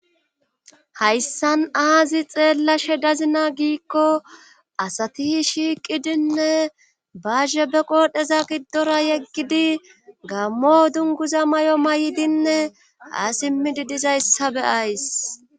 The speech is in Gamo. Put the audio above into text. hayssan aazi xeellashe dazina giikko asatihi shiiqidinne bahe be qoodheza giddora yeggidi gammo dunguza may7o may7dinne aasimmidi dizayssabe ays